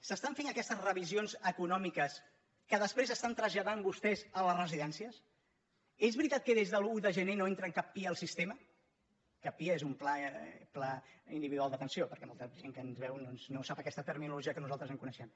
s’estan fent aquestes revisions econòmiques que després estan tras·lladant vostès a les residències és veritat que des de l’un de gener no entren cap pia al sistema cap pia és un pla individual d’atenció perquè molta gent que ens veu doncs no sap aquesta terminologia que nosal·tres coneixem